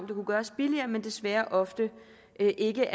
det kunne gøres billigere men desværre ofte ikke